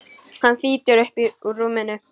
Hann þýtur upp úr rúminu.